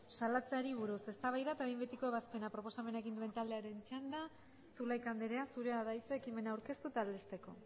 salatzeari buruz eztabaida eta behin betiko ebazpena proposamena egin duen taldearen txanda zulaika andrea zurea da hitza ekimena aurkeztu eta aldezteko